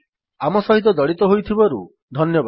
ଆମ ସହିତ ଜଡ଼ିତ ହୋଇଥିବାରୁ ଧନ୍ୟବାଦ